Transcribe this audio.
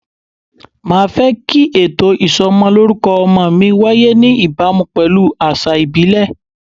Màá fẹ́ kí ètò ìsọmọlórúkọ ọmọ mi wáyé ní ìbámu pelu àṣà ìbílẹ̀.